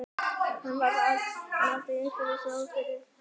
Hann fann allt í einu að einhver stóð fyrir aftan hann.